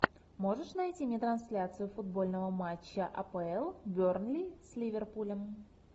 можешь найти мне трансляцию футбольного матча апл бернли с ливерпулем